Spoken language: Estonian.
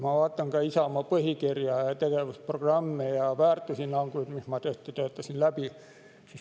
Ma vaatasin ka Isamaa põhikirja, tegevusprogramme ja väärtushinnanguid, ma tõesti töötasin need läbi.